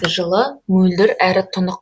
жылы мөлдір әрі тұнық